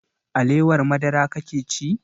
Alewar madara kake ci?